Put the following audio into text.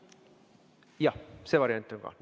Jah, see variant on ka.